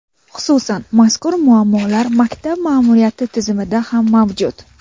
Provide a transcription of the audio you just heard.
Xususan, mazkur muammolar maktab ma’muriyati tizimida ham mavjud.